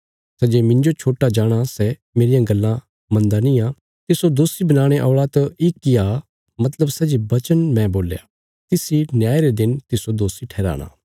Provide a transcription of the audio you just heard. सै जे मिन्जो छोट्टा जाणाँ सै मेरियां गल्लां मनदा निआं तिस्सो दोषी बनाणे औल़ा त इक आ मतलब सै जे वचन मैं बोल्या तिस इ न्याय रे दिन तिस्सो दोषी ठराना